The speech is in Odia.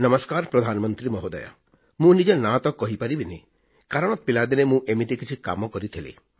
ନମସ୍କାର ପ୍ରଧାନମନ୍ତ୍ରୀ ମହୋଦୟ ମୁଁ ନିଜ ନାଁ ତ କହିପାରିବିନି କାରଣ ପିଲାଦିନେ ମୁଁ ଏମିତି କିଛି କାମ କରିଥିଲି